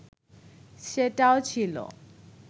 সেটাও ছিল